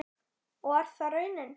Og er það raunin?